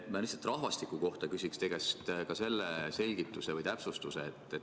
Ma küsin rahvastiku kohta ja palun teie käest selgitust või täpsustust.